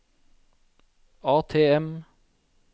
ATM